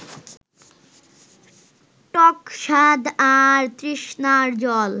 টক স্বাদ আর তৃষ্ণার জল